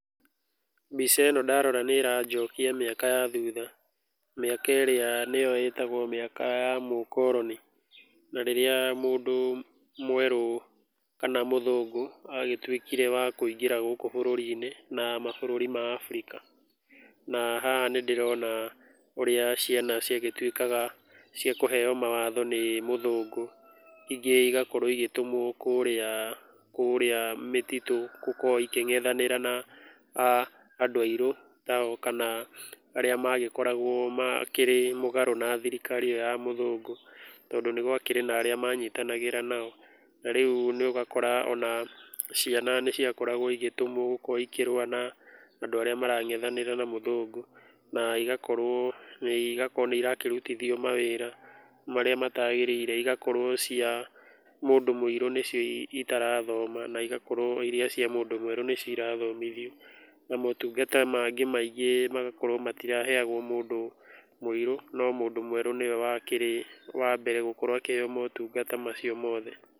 Mbica ĩno ndarora nĩ ĩranjokia mĩaka ya thutha, mĩaka ĩrĩa nĩyo ĩtagwo mĩaka ya mũkoroni, na rĩrĩa mũndũ mwerũ kana mũthũngũ agĩtuĩkire wa kũingĩra gũkũ bũrũri-inĩ na mabũrũri ma Africa. Na haha nĩ ndĩrona ũrĩa ciana ciagĩtuĩkaga cia kũheo mawatho nĩ mũthũngũ. Ingĩ igakorwo igĩtũmwo kũrĩa kũrĩa mĩtitũ gũkorwo ikĩngethanĩra na andũ airũ tao, kana arĩa magĩkoragwo makĩrĩ mũgarũ na thirikari ĩyo ya mũthũngũ, tondũ nĩ gwakĩrĩ na arĩa manyitanagĩra nao. Na rĩu ũgakora ona ciana nĩ ciakoragwo igĩtũmwo gũkorwo ikĩrũa na andũ arĩa marangethanĩra na mũthũngũ. Na igakorwo nĩ irakĩrutithio mawĩra marĩa mataagĩrĩire. Igakorwo cia mũndũ mũirũ nĩcio itarathoma na igakorwo irĩa cia mũndũ mwerũ nĩcio irathomithio. Na motungata mangĩ maingĩ magakorwo matiraheagwo mũndũ mũirũ, no mũndũ mwerũ nĩwe wakĩrĩ wa mbere gũkorwo akĩheo motungata macio mothe.